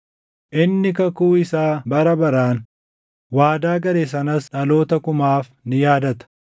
Inni kakuu isaa bara baraan, waadaa gale sanas dhaloota kumaaf ni yaadata;